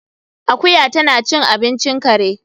Akuya tana cin abincin kare